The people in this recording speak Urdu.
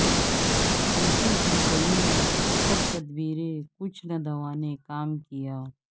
الٹی ہو گئیں سب تدبیریں کچھ نہ دوا نے کام کیا